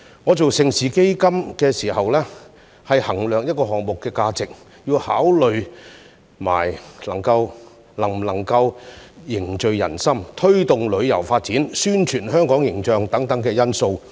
我參與盛事基金時，每當衡量項目的價值，亦須同時考慮能否凝聚人心、推動旅遊發展和宣傳香港形象等因素。